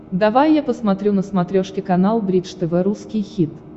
давай я посмотрю на смотрешке канал бридж тв русский хит